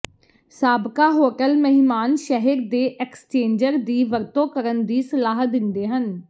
ਸਾਬਕਾ ਹੋਟਲ ਮਹਿਮਾਨ ਸ਼ਹਿਰ ਦੇ ਐਕਸਚੇਂਜਰ ਦੀ ਵਰਤੋਂ ਕਰਨ ਦੀ ਸਲਾਹ ਦਿੰਦੇ ਹਨ